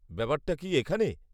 ব্যাপারটা কি এখানে?